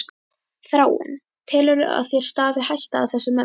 Þráinn: Telurðu að þér stafi hætta af þessum mönnum?